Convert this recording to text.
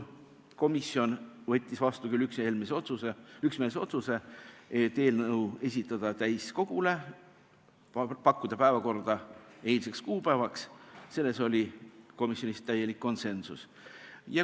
Komisjon võttis vastu üksmeelse otsuse esitada eelnõu täiskogule, pakkuda päevakorda eilseks kuupäevaks, selles oli komisjonis täielik konsensus.